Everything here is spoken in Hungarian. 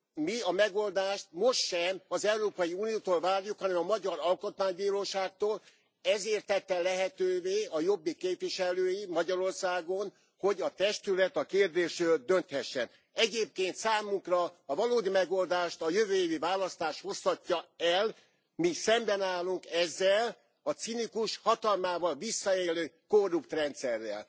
Mi a megoldást most sem az Európai Uniótól várjuk, hanem a magyar alkotmánybíróságtól, ezért tették lehetővé a Jobbik képviselői Magyarországon, hogy a testület a kérdésről dönthessen. Egyébként számukra a valódi megoldást a jövő évi választás hozhatja el, mi szemben állunk ezzel a cinikus, hatalmával visszaélő, korrupt rendszerrel.